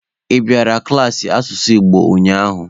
Ị bịakwara klaasị asụsụ Igbo ụnyaahụ?